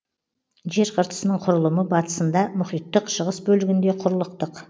жер қыртысының құрылымы батысында мұхиттық шығыс бөлігінде құрлықтық